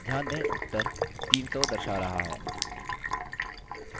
ध्यान दें उत्तर 300 दर्शा रहा है